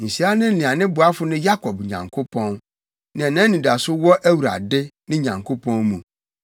Nhyira ne nea ne boafo ne Yakob Nyankopɔn, nea nʼanidaso wɔ Awurade, ne Nyankopɔn mu.